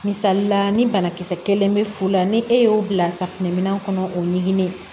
Misalila ni banakisɛ kelen be fu la ni e y'o bila safunɛminɛn kɔnɔ o ɲiginnen